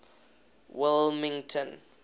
wilmington